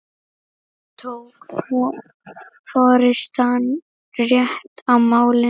Tók forystan rétt á málinu?